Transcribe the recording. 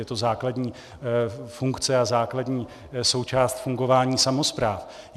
Je to základní funkce a základní součást fungování samospráv.